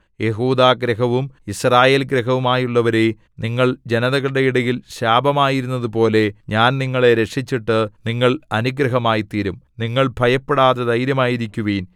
യെഹൂദാഗൃഹവും യിസ്രായേൽഗൃഹവുമായുള്ളവരേ നിങ്ങൾ ജനതകളുടെ ഇടയിൽ ശാപമായിരുന്നതുപോലെ ഞാൻ നിങ്ങളെ രക്ഷിച്ചിട്ടു നിങ്ങൾ അനുഗ്രഹമായിത്തീരും നിങ്ങൾ ഭയപ്പെടാതെ ധൈര്യമായിരിക്കുവിൻ